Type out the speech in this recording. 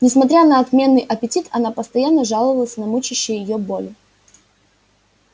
несмотря на отменный аппетит она постоянно жаловалась на мучающие её боли